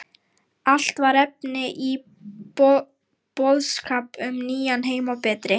Allt var efni í boðskap um nýjan heim og betri